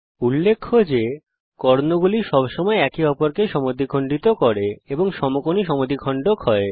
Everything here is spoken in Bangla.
উল্লেখ্য যে কর্ণগুলি সবসময় একে অপরকে সমদ্বিখণ্ড করে এবং সমকোণী সমদ্বিখণ্ডক হয়